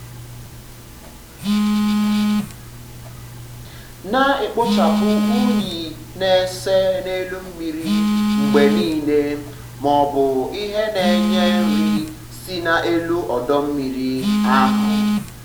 na-ekpochapụ unyi na-ese um n'elu mmiri mgbe um niile ma ọ bụ ihe na-enye nri si n'elu ọdọ mmiri ahụ. ahụ.